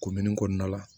kɔnɔna la